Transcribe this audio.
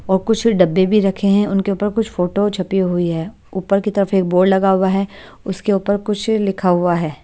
और कुछ डब्बे भी रखे हैं उनके ऊपर कुछ फोटो छपी हुई है ऊपर की तरफ एक बोर्ड लगा हुआ है उसके ऊपर कुछ लिखा हुआ है ।